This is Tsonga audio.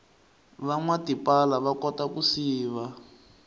vanwa tipala vakota ku siva